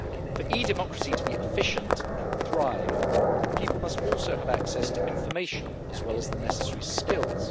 For e Democracy to be efficient and thrive, people must also have access to information as well as the necessary skills.